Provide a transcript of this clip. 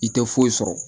I tɛ foyi sɔrɔ